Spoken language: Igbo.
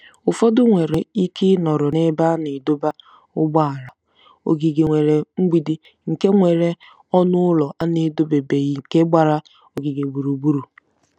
Ụfọdụ nwere ike ịnọrọ n'ebe a na-adọba ụgbọala, ogige nwere mgbidi nke nwere ọnụ ụlọ a na-edobebeghị nke gbara ogige gburugburu.